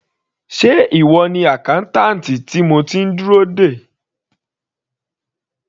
Sé ìwọ ni accountant tí mo ti ń dúró dè.